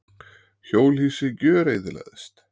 Hjólhýsi gjöreyðileggjast.